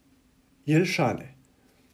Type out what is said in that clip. Jelšane.